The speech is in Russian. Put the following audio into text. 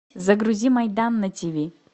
загрузи майдан на тиви